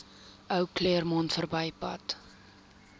ou claremont verbypad